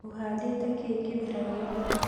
Ũhandĩte kĩ kĩmera gĩkĩ?